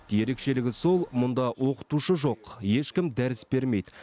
ерекшелігі сол мұнда оқытушы жоқ ешкім дәріс бермейді